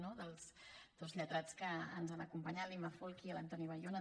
no dels dos lletrats que ens han acompanyat l’imma folchi i l’antoni bayona